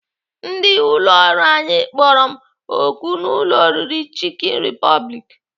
Ndị ụlọọrụ anyị kpọrọ m oku n'ụlọ oriri Chicken Republic.